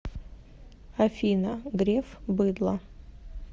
афина греф быдло